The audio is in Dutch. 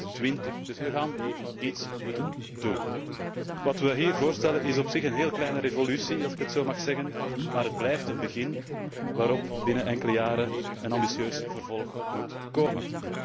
2020. Dus we zullen iets moeten doen. Wat we hier voorstellen, is op zich een heel kleine revolutie, als ik het zo mag zeggen, maar het blijft een begin, waarop binnen enkele jaren een ambitieus vervolg moet komen.